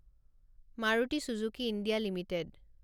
Maruti Suzuki India limited